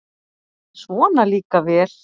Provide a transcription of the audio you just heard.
Svona líka vel!